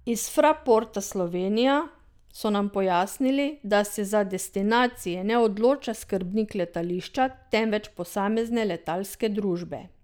Iz Fraporta Slovenija so nam pojasnili, da se za destinacije ne odloča skrbnik letališča, temveč posamezne letalske družbe.